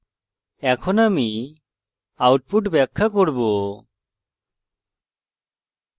এখন আমি output ব্যাখ্যা করব